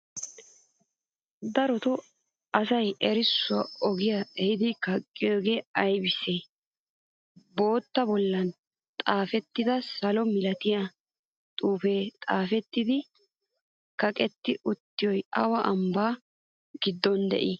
Darootoo asay errissuwaa ogiyan ehidi kaqqiyogee aybisee? Bottaba bollan xafetida salo milatiya xuufe xaafetidi kaqqeti uttidoy awa ambbaa giddon de'ii?